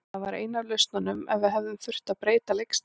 Það var ein af lausnunum ef við hefðum þurft að breyta leikstílnum.